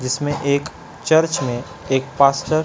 जिसमे एक चर्च मे एक पासचर--